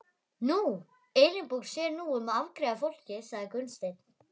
Nú, Elínborg sér nú um að afgreiða fólkið, sagði Gunnsteinn.